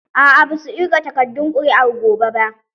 A'a ba za su ƙirga takardun ƙuri'ar gobe ba